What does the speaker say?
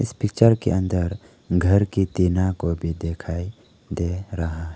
इस पिक्चर के अंदर घर की टीना को भी दिखाई दे रहा--